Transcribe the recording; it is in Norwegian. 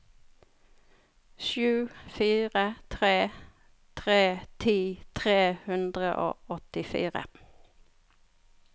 sju fire tre tre ti tre hundre og åttifire